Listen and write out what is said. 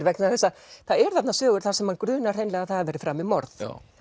vegna þess að það eru þarna sögur þar sem mann grunar hreinlega að það hafi verið framið morð